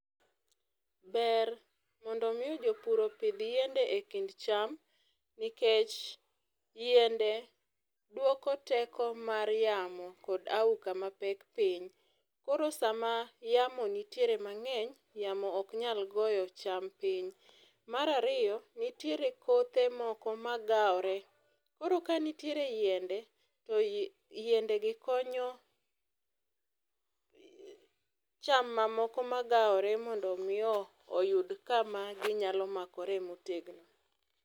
Ber mondo mi jopur opidh yiende e kind cham nikech yiende duoko teko mar yamo kod auka mapek piny. Koro sama yamo nitiere mang'eny yamo ok nyal goyo cham piny. Mar ariyo , nitiere kothe moko magawore koro ka nitiere yiende to yiendegi konyo cham mamoko magawore mondo mi oyud kama ginyalo makore motegno.